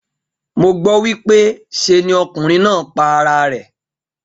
Mo gbó wípé se ni okùnrin náà pa ara rè